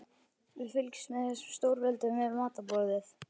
Við fylgjumst með þessum stórveldum við matarborðið.